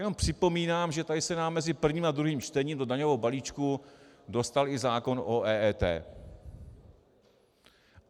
Jenom připomínám, že tady se nám mezi prvním a druhým čtením do daňového balíčku dostal i zákon o EET.